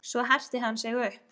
Svo herti hann sig upp.